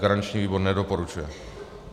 Garanční výbor nedoporučuje.